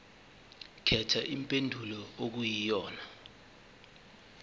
khetha impendulo okuyiyona